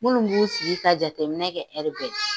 Munnu b'u sigi ka jateminɛ kɛ bɛɛ